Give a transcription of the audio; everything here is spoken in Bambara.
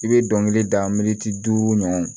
I bɛ dɔnkili da duuru ɲɔgɔn